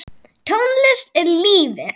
Tónlist er lífið!